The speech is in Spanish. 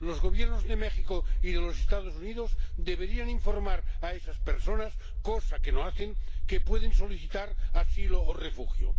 Los Gobiernos de México y de los Estados Unidos deberían informar a esas personas —cosa que no hacen— de que pueden solicitar asilo o refugio.